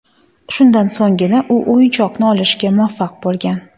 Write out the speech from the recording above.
Shundan so‘nggina, u o‘yinchoqni olishga muvaffaq bo‘lgan.